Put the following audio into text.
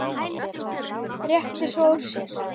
Rétti svo úr sér.